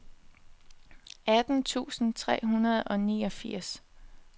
atten tusind tre hundrede og niogfirs